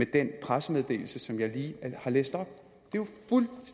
den pressemeddelelse som jeg lige har læst op